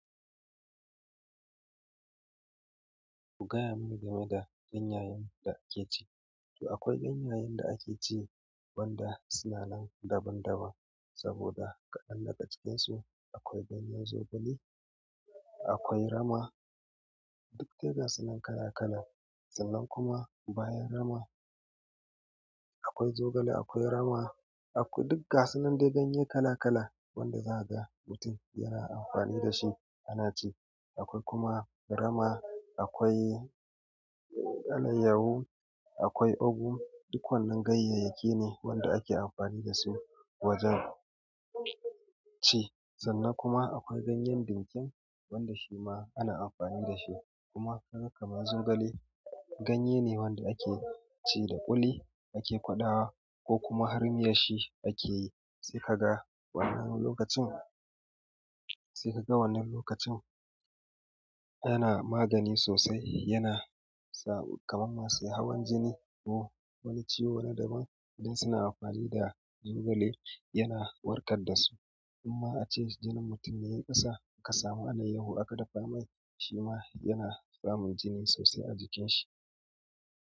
Ku gaya mini game da ganyayen da ake ci. To akwai ganyayen da ake ci wanda suna nan daban daban, saboda ƙadan daga cikin su akwai ganyen zogale, akwai rama, duk dai gasunan kala kala. Sannan kuma bayan rama, akwai zogale akwai rama aku-- duk gasunan dai ganye kala kala wanda zaka ga mutum yana amfani da shi ana ci. Akwai kuma rama, akwai alayyahu, akwai ogu, duk wannan ganyayyaki ne wanda ake amfani da su wajen ci. Sannan kuma akwai ganyen ɗinkin wanda shi ma ana amfani da shi kuma kaga kamar zogale, ganye ne wanda ake ci da ƙuli ake ƙwadawa, ko kuma har miyarsa a ke yi. Sai ka ga wannan lokacin, sai ka ga wannan lokacin yana magani sosai yana sa kamar masu hawan jini ko wani ciwo na daban, idan suna amfani da zogale yana warkar da su. Amma ace jinin mutum ya yi ƙasa ka samu alayyahu aka dafa mai shi ma yana samun jini sosai a jikin shi.